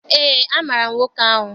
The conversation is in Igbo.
Eé, amaara m nwoke ahụ.